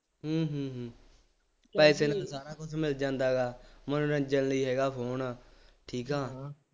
ਹੂੰ ਹੂੰ ਹੂੰ ਪੈਸੇ ਦੇ ਕੇ ਸਾਰਾ ਕੁੱਝ ਮਿਲ ਜਾਂਦਾ ਹੈਗਾ, ਮਨੋਰੰਜਨ ਲਈ ਹੈਗਾ ਫੋਨ ਆ, ਠੀਕ ਹੈ,